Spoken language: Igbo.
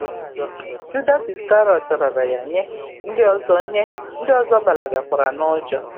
Judas Iskarịọt raara ya nye, ndị ọzọ nye, ndị ọzọ gbalagakwara n’ụjọ.